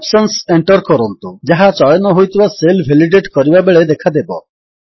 options enter କରନ୍ତୁ ଯାହା ଚୟନ ହୋଇଥିବା ସେଲ୍ ଭେଲିଡେଟ୍ କରିବାବେଳେ ଦେଖାଦେବ